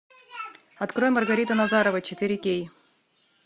открой маргарита назарова четыре кей